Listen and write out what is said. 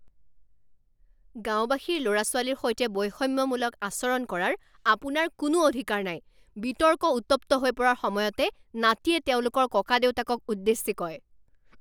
গাঁওবাসীৰ ল'ৰা ছোৱালীৰ সৈতে বৈষম্যমূলক আচৰণ কৰাৰ আপোনাৰ কোনো অধিকাৰ নাই বিতৰ্ক উত্তপ্ত হৈ পৰাৰ সময়তে নাতিয়ে তেওঁলোকৰ ককাদেউতাকক উদ্দেশ্যি কয়